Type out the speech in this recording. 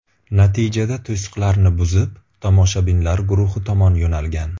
Natijada to‘siqlarni buzib, tomoshabinlar guruhi tomon yo‘nalgan.